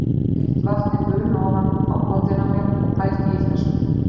Ég lét heitt vatnið buna ofan á kollinn á mér og pældi í þessu.